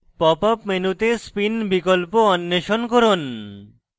pop up মেনুতে spin বিকল্প অন্বেষণ করুন